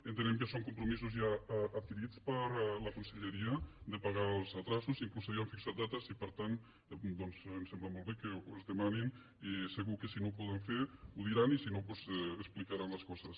entenem que són compromisos ja adquirits per la conselleria de pagar els endarreriments fins i tot s’havien fixat dates i per tant ens sembla molt bé que es demani i segur que si no ho poden fer ho diran i si no doncs explicaran les coses